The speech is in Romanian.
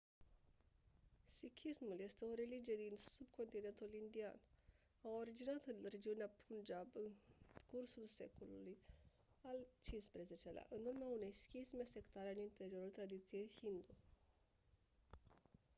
sikhismul este o religie din subcontinentul indian a originat în regiunea punjab în cursul secolului al xv-lea în urma unei schisme sectare în interiorul tradiției hindu